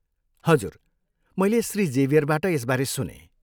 हजुर मैले श्री जेभियरबाट यसबारे सुनेँ।